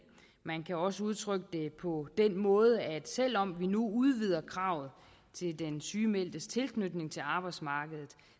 man kan også udtrykke det på den måde at selv om vi nu udvider kravet til den sygemeldtes tilknytning til arbejdsmarkedet